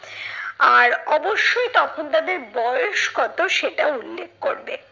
আর অবশ্যই তখন তাদের বয়স কত সেটাও উল্লেখ করবে।